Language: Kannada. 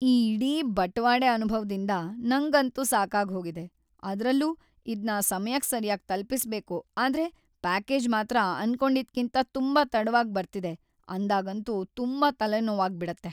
ಈ ಇಡೀ ಬಟವಾಡೆ ಅನುಭವ್‌ದಿಂದ ನಂಗಂತೂ ಸಾಕಾಗ್ಹೋಗಿದೆ, ಅದ್ರಲ್ಲೂ ಇದ್ನ ಸಮಯಕ್‌ ಸರ್ಯಾಗ್‌ ತಲ್ಪಿಸ್ಬೇಕು ಆದ್ರೆ ಪ್ಯಾಕೇಜ್‌ ಮಾತ್ರ ಅಂದ್ಕೊಂಡಿದ್ಕಿಂತ ತುಂಬಾ ತಡವಾಗ್‌ ಬರ್ತಿದೆ ಅಂದಾಗಂತೂ ತುಂಬಾ ತಲೆನೋವಾಗ್ಬಿಡತ್ತೆ.